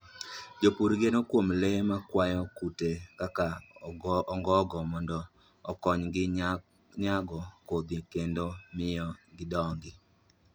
Jopur geno kuom le makwayo kute kaka ongogo mondo okonygi nyago kodhi kendo miyo gidongi.